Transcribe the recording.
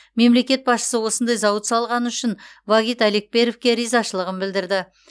мемлекет басшысы осындай зауыт салғаны үшін вагит алекперовке ризашылығын білдірді